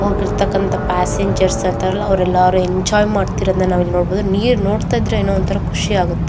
ಹೋಗಿರ್ತಕಂತ passenger ಅವರೆಲ್ಲಾ enjoy ಮಾಡತ್ತಿರೋದನ್ನ ನಾವ್ ಇಲ್ಲಿ ನೋಡಬಹುದು ನೀರ ನೋಡತ್ತಾ ಇದ್ರೆ ಏನೋ ಒಂತರ ಖುಷಿ ಆಗುತ್ತೆ.